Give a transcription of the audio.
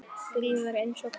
GRÍMUR: Eins og hvað?